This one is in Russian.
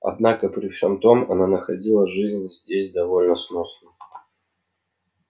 однако при всём том она находила жизнь здесь довольно сносной